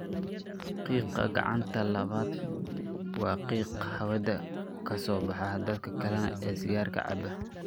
Qiiqa gacanta labaad waa qiiq hawada ka soo baxa dadka kale ee sigaarka cabba.